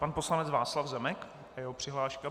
Pan poslanec Václav Zemek a jeho přihláška.